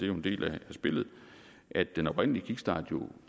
jo en del af spillet at den oprindelige kickstart